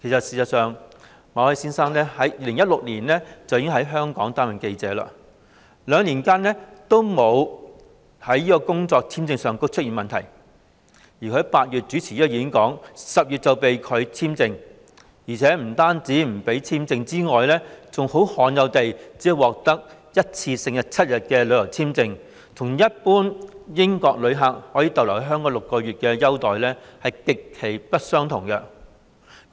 事實上，馬凱先生自2016年起已在香港擔任記者，兩年以來，其工作簽證續期也不曾出現問題，但他在8月主持該演講 ，10 月便被拒簽證續期，而且除了工作簽證不獲續期外，更罕有地只獲批一次性7天的旅遊簽證，與一般英國旅客可留港6個月的待遇極不相同。